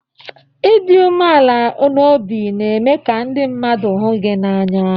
Ịdị umeala n'obi na-eme ka ndị mmadụ hụ gị n'anya